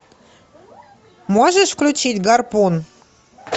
можешь включить гарпун